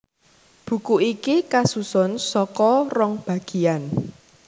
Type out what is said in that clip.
Buku iki kasusun saka rong bagiyan